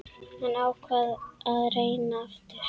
Hann ákvað að reyna aftur.